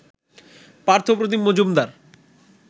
Partha Pratim Majumdar